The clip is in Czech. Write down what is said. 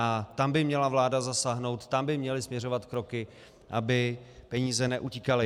A tam by měla vláda zasáhnout, tam by měly směřovat kroky, aby peníze neutíkaly.